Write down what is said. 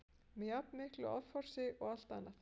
með jafn miklu offorsi og allt annað.